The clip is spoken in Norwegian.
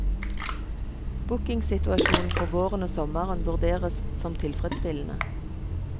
Bookingsituasjonen for våren og sommeren vurderes som tilfredsstillende.